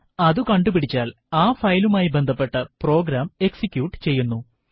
അത് കണ്ടുപിടിച്ചാൽ ആ ഫയലുമായി ബന്ധപ്പെട്ട പ്രോഗ്രാം എക്സിക്യൂട്ട് ചെയ്യുന്നു